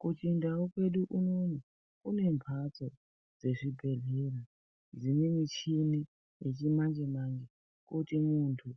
Kuchindau kwedu unono, kune mphatso dzezvibhedhlera dzine michini, yechimanje-manje, kuti muntu